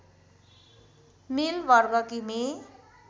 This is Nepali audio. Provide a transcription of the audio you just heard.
मील वर्ग किमी